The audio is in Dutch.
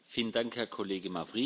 Dank u wel, Voorzitter.